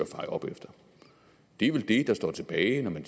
feje op efter det er vel det der står tilbage når man